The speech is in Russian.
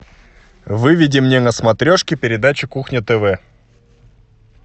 выведи мне на смотрешке передачу кухня тв